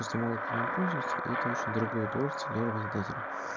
просто мало кто им пользуется и это очень дорогое удовольствие для работодателя